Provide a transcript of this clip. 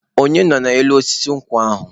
Onye nọ n'elu osisi nkwụ ahụ?